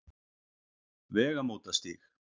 Vegamótastíg